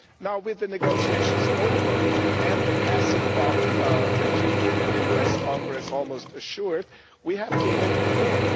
Now, with the negotiations over and the passing of the treaty in the US Congress almost assured, we have to look ahead.